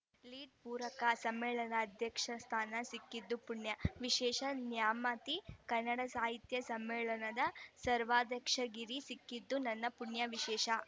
lead ಪೂರಕ ಸಮ್ಮೇಳನ ಅಧ್ಯಕ್ಷ ಸ್ಥಾನ ಸಿಕ್ಕಿದ್ದು ಪುಣ್ಯ ವಿಶೇಷ ನ್ಯಾಮತಿ ಕನ್ನಡ ಸಾಹಿತ್ಯ ಸಮ್ಮೇಳನದ ಸರ್ವಾಧ್ಯಕ್ಷಗಿರಿ ಸಿಕ್ಕಿದ್ದು ನನ್ನ ಪುಣ್ಯ ವಿಶೇಷ